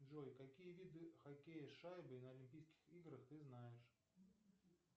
джой какие виды хоккея с шайбой на олимпийских играх ты знаешь